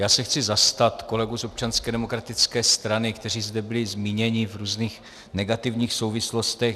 Já se chci zastat kolegů z Občanské demokratické strany, kteří zde byli zmíněni v různých negativních souvislostech.